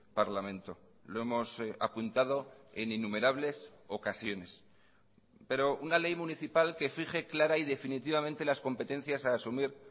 parlamento lo hemos apuntado en innumerables ocasiones pero una ley municipal que fije clara y definitivamente las competencias a asumir